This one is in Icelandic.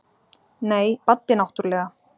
Nei, Baddi náttúrlega.